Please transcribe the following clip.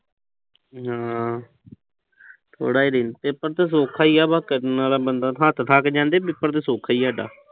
ਹਮ ਥੋੜਾ ਜਾ ਪੇਪਰ ਤਾਂ ਸੌਖਾ ਈ ਆ। ਬਸ ਕਰਨ ਆਲਾ ਬੰਦਾ, ਹੱਥ ਥੱਕ ਜਾਂਦੇ, ਪੇਪਰ ਤਾਂ ਸੌਖਾ ਈ ਆ ਸਾਡਾ।